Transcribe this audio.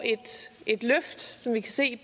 et løft som vi kan se